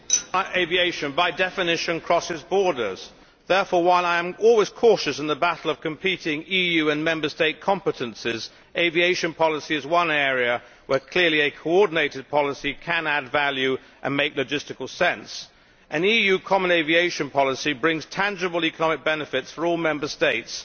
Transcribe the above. Mr President, international aviation by definition crosses borders. Therefore, while I am always cautious in the battle of competing EU and Member State competences, aviation policy is one area where, clearly, a coordinated policy can add value and make logistical sense, and an EU common aviation policy brings tangible economic benefits for all Member States.